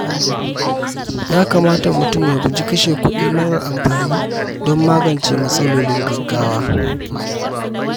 Ya kamata mutum ya guji kashe kuɗi marar amfani don magance matsalolin gaggawa.